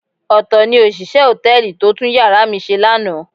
Ọ̀tọ̀ ni òṣìṣẹ́ hòtẹ́ẹ̀lì tó tún yàrá mi ṣe lánàá.